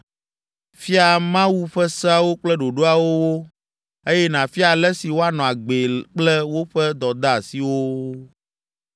Fia Mawu ƒe seawo kple ɖoɖoawo wo, eye nàfia ale si woanɔ agbee kple woƒe dɔdeasiwo wo.